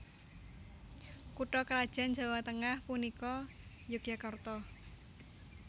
Kutha krajan Jawa Tengah punika Yogyakarta